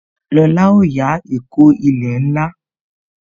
Lóla ó yá ìkó ilẹ̀ ńlá